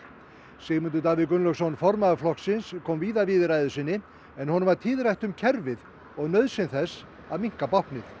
Sigmundur Davíð Gunnlaugsson formaður flokksins kom víða við í ræðu sinni en honum var tíðrætt um kerfið og nauðsyn þess að minnka báknið